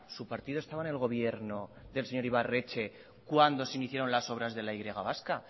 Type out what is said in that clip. su partido estaba en el gobierno del señor ibarretxe cuando se iniciaron las obras de la y vasca